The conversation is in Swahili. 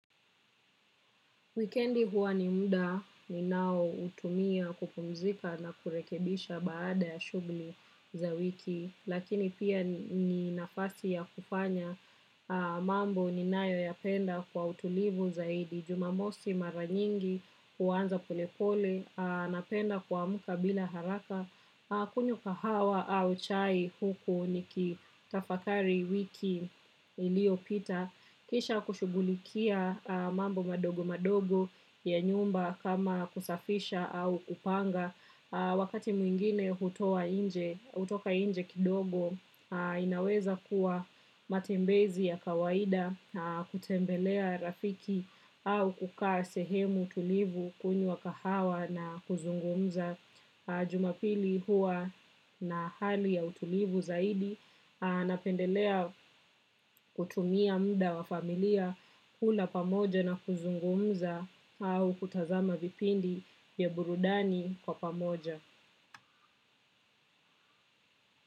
Wikendi huwa ni muda ninaoutumia kupumzika na kurekebisha baada ya shughuli za wiki lakini pia ni nafasi yakufanya mambo ninayopenda kwa utulivu zaidi. Jumamosi mara nyingi huwanza pole pole napenda kuamka bila haraka. Kunyua kahawa au chai huku ni kitafakari wiki iliopita. Kisha kushughulikia mambo madogo madogo ya nyumba kama kusafisha au kupanga. Wakati mwingine hutoka inje kidogo inaweza kuwa matembezi ya kawaida. Kutembelea rafiki au kukaa sehemu tulivu kunyua kahawa na kuzungumza jumapili huwa na hali ya utulivu zaidi, napendelea kutumia muda wa familia kula pamoja na kuzungumza au kutazama vipindi ya burudani kwa pamoja.